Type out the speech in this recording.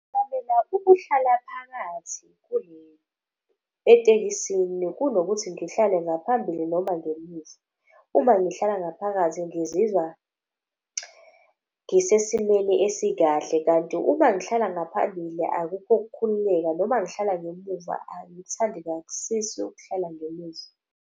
Ngincamela ukuhlala phakathi etekisini kunokuthi ngihlale ngaphambili noma ngemuva. Uma ngihlala ngaphakathi ngizizwa ngisesimeni esikahle. Kanti uma ngihlala ngaphambili akukho ukukhululeka noma ngihlala ngemuva angithandikasisi ukuhlala ngemuva.